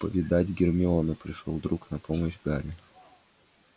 повидать гермиону пришёл друг на помощь гарри